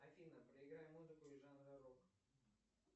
афина проиграй музыку из жанра рок